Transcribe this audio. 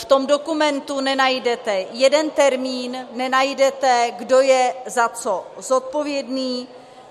V tom dokumentu nenajdete jeden termín, nenajdete, kdo je za co zodpovědný.